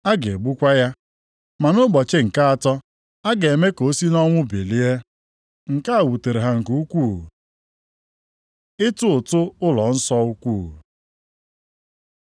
Ha ga-egbukwa ya, ma nʼụbọchị nke atọ a ga-eme ka o si nʼọnwụ bilie.” Nke a wutere ha nke ukwuu. Ịtụ ụtụ ụlọnsọ ukwu